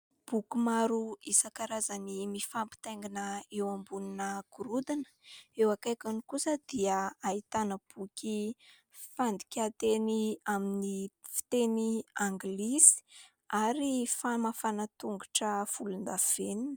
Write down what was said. Boky maro isankarazany mifampitaingina eo ambonina gorodina. Eo akaikiny kosa dia ahitàna boky fandikan-teny amin'ny fiteny anglisy ary famafàna tongotra volon-davenina.